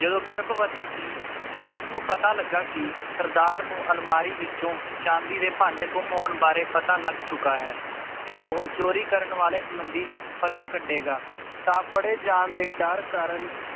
ਜਦੋਂ ਗਰਭਵਤੀ ਸੀ ਤੇ ਉਸ ਨੂੰ ਪਤਾ ਲੱਗਾ ਕਿ ਸਰਦਾਰ ਨੂੰ ਅਲਮਾਰਿਹ ਵਿਚੋਂ ਚਾਂਦੀ ਦੇ ਭਾਂਡੇ ਗੰਮ ਹੋਣ ਬਾਰੇ ਪਤਾ ਲੱਗ ਚੁੱਕਾ ਹੈ ਤੇ ਉਹ ਚੋਰੀ ਕਰਨ ਵਾਲੇ ਮੰਦੀ ਪਤਾ ਕੱਢੇਗਾ ਤਾਂ ਫੜੇ ਜਾਨ ਦੇ ਡਰ ਕਾਰਨ